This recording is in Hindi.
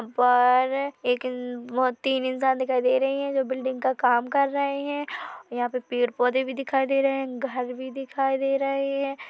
परर एक तीन इंसान दिखाई दे रही है जो बिल्डिंग का काम कर रहे है यहाँ पे पेड़ पौधे भी दिखाई दे रहे है घर भी दिखाई दे रहे हैं।